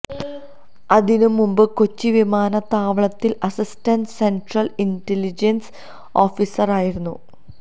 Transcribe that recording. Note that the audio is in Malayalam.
അതിനു മുമ്പ് കൊച്ചി വിമാനത്താവളത്തില് അസിസ്റ്റന്റ് സെന്ട്രല് ഇന്റെലിജന്സ് ഓഫീസര് ആയിരുന്നു